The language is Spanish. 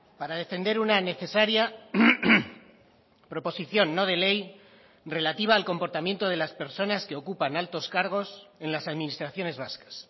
para defender una necesaria proposición no de ley relativa al comportamiento de las personas que ocupan altos cargos en las administraciones vascas